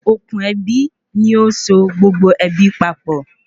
Òkun ebi ní óso gbogbo ebi papọ